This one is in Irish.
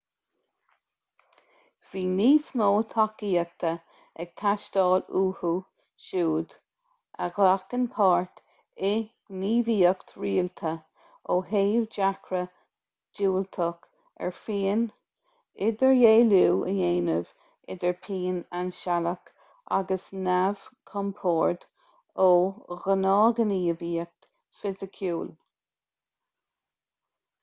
bhí níos mó tacaíochta ag teastáil uathu siúd a ghlacann páirt i ngníomhaíocht rialta ó thaobh dearcadh diúltach ar phian idirdhealú a dhéanamh idir pian ainsealach agus neamhchompord ó ghnáthghníomhaíocht fhisiciúil